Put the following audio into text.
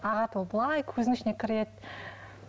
ағады ол былай көзіңнің ішіне кіреді